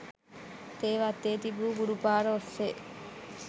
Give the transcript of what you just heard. තේ වත්තේ තිබු ගුරුපාර ඔස්සේ